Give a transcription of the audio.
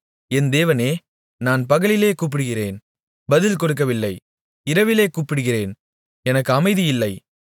என் தேவனே நான் பகலிலே கூப்பிடுகிறேன் பதில் கொடுக்கவில்லை இரவிலே கூப்பிடுகிறேன் எனக்கு அமைதி இல்லை